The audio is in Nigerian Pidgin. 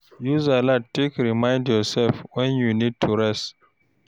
Use alart take remind yourself when you need to rest